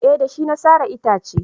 eh da shi na sare itace